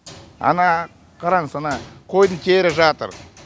ана қараңыз ана қойдың тері жатыр